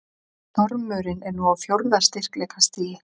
Stormurinn er nú á fjórða styrkleikastigi